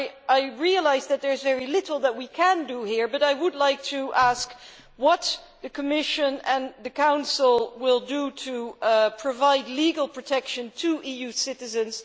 I realise there is very little that we can do here, but I would like to ask what the Commission and the Council will do to provide legal protection to EU citizens.